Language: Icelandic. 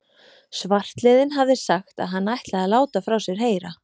Svartliðinn hafði sagt, að hann ætlaði að láta frá sér heyra.